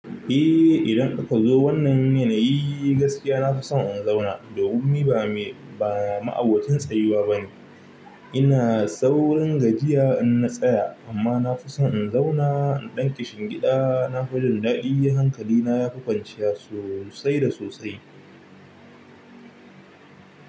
Eh idan kuka zo wannan yanayi gaskiya na fi son in zauna. Domin ni ba me ba ma'abocin tsayuwa bane. Ina saurin gajiya in na tsaya amma na fi son in zauna in ɗanki shingida. Na fi jin daɗi hankalina ya fi kwanciya sosai da sosai.